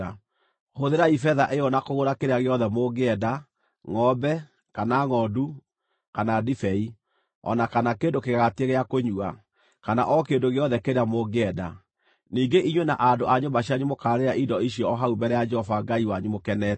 Hũthĩrai betha ĩyo na kũgũra kĩrĩa gĩothe mũngĩenda: ngʼombe, kana ngʼondu, kana ndibei o na kana kĩndũ kĩgagatie gĩa kũnyua, kana o kĩndũ gĩothe kĩrĩa mũngĩenda. Ningĩ inyuĩ na andũ a nyũmba cianyu mũkaarĩĩra indo icio o hau mbere ya Jehova Ngai wanyu mũkenete.